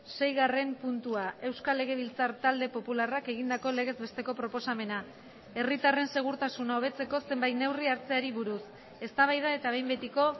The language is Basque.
seigarren puntua euskal legebiltzar talde popularrak egindako legez besteko proposamena herritarren segurtasuna hobetzeko zenbait neurri hartzeari buruz eztabaida eta behin betiko